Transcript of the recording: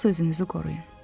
Əsas özünüzü qoruyun.